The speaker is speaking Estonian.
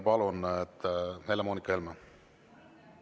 Palun, Helle‑Moonika Helme!